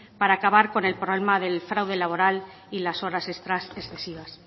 para acabar con el problema del fraude laboral y las horas extras excesivas